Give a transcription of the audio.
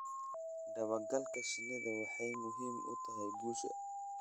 Dabagalka shinnidu waxay muhiim u tahay guusha.